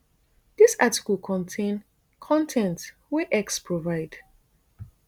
dis article contain con ten t wey x provide